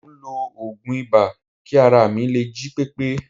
Mò ń lo oògùn ibà kí ara mi lè jí pépé